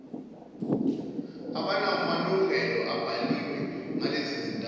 abanamalungelo abhaliwe ngalezizindawo